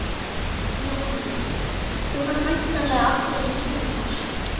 Jóhannes: Þú ferð væntanlega aftur í sumar?